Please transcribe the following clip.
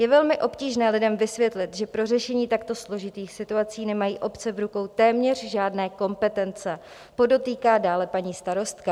Je velmi obtížné lidem vysvětlit, že pro řešení takto složitých situací nemají obce v rukou téměř žádné kompetence," podotýká dále paní starostka.